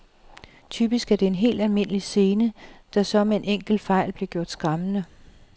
Typisk er det en helt almindelig scene, der så med en enkelt fejl bliver gjort skræmmende.